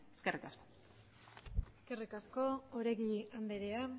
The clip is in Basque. eskerrik asko eskerrik asko oregi andrea